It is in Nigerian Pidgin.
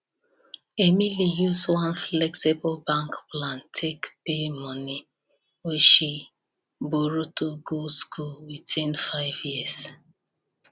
emily use one flexible bank plan take pay money wey she borrow to go school within 5 years